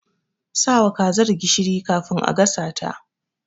Sawa kazar gishiri kafin a gasa ta.